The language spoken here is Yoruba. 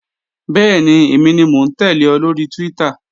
Bẹ́ẹ̀ni, èmi ni mò ń tẹ́lẹ̀ ọ lóri Twitter